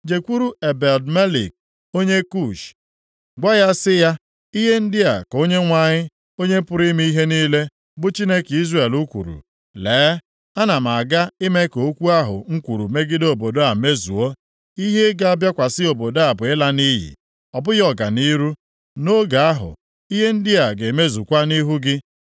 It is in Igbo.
“Jekwuru Ebed-Melek onye Kush, gwa ya sị ya, ‘Ihe ndị a ka Onyenwe anyị, Onye pụrụ ime ihe niile, bụ Chineke Izrel kwuru, Lee, ana m aga ime ka okwu ahụ m kwuru megide obodo a mezuo. Ihe ga-abịakwasị obodo a bụ ịla nʼiyi, ọ bụghị ọganihu. Nʼoge ahụ, ihe ndị a ga-emezukwa nʼihu gị.